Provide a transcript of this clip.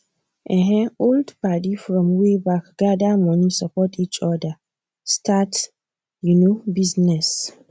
um old padi from way back gather money support each other start you know business